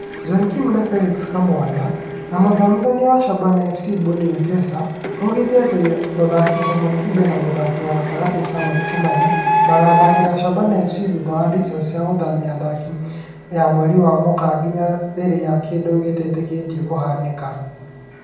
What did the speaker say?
John Kim na Felix Kamwana, na mũthomithania wa Shabana FC Bonnie Wekesa augĩte atĩ mũtharĩkĩri Simon Kibe na mũthaki wa gatagatĩ Samuel Kimani magathakĩra Shabana FC thutha wa dirica ya gũthamia athaki ya mweri wa Mũgaa "nginya rĩrĩa kĩndũ gĩtetĩkĩtio" gĩkahanĩka